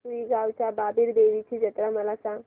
रुई गावच्या बाबीर देवाची जत्रा मला सांग